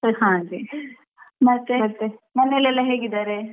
ಮನೇಲೆಲ್ಲಾ ಹೇಗಿದ್ದಾರೆ?